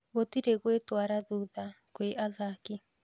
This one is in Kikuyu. Gũtire gwĩtara thutha kwĩ athaki